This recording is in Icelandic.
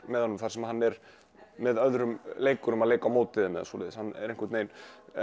með honum þar sem hann er með öðrum leikurum að leika á móti þeim eða svoleiðis hann er einhvern veginn